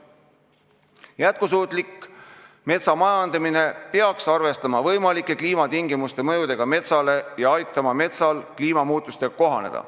Jätkusuutlik metsamajandamine peaks arvestama võimalike kliimatingimuste mõjudega metsale ja aitama metsal kliimamuutustega kohaneda.